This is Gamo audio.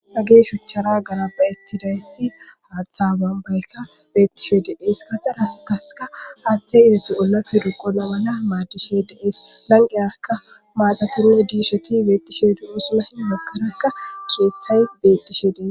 hage shuchara ganabaettidayssi haaththa bambaykka beettishe de7ees ka xarataska aaththey ibetu olafe ruqonamana maadishe deees lanqeyarka maadatinne diisheti beettishe dumusulahi magarakka keeththay bettishe dees